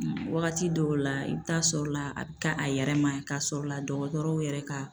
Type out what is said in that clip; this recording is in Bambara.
Wagati dɔw la, i bɛ taa sɔrɔ la a bɛ k'a yɛrɛ ma k'a sɔrɔ la dɔgɔtɔrɔw yɛrɛ ka